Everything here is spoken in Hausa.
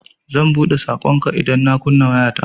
Zan buɗe saƙonka idan na kunna wayata.